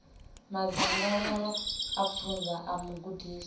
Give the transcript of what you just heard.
madzangalelo a pfunzo a mugudiswa